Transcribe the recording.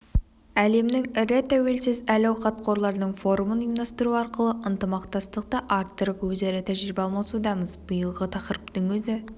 әлемнің ірі тәуелсіз әл-ауқат қорларының форумын ұйымдастыру арқылы ынтымақтастықты арттырып өзара тәжірибе алмасудамыз биылғы тақырыптың өзі